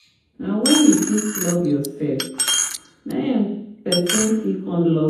Na wen you fit love yourself na em pesin go fit come love you